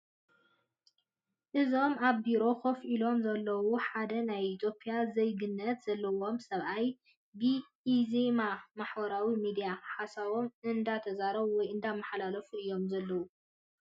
እዞም ኣብ ቢሮ ኮፍ ኢሎም ዘለው ሓደ ናይ ኢትዮፕያ ዘይግነት ዘለዎም ሰብኣይ ብኢዜማ ማሕበራዊ ምድያ ሓሳቦን እነዳተዛረቡ ወይ እንዳማሓላለፉ እዮም ዘለው።